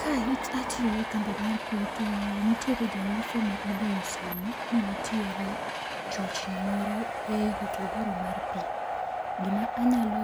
Ka atiyo e kambi mar pi to nitiere ja uso ma ogoyo simo ni nitiere chochni moro e hotogoro mar pi, gima anyalo